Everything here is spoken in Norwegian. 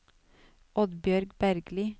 Oddbjørg Bergli